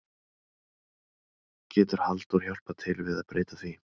Getur Halldór hjálpað til við að breyta því?